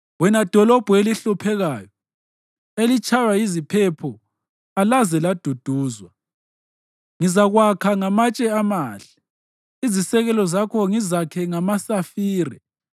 Wena dolobho elihluphekileyo, elitshaywa yiziphepho alaze laduduzwa, ngizakwakha ngamatshe amahle, izisekelo zakho ngizakhe ngamasafire.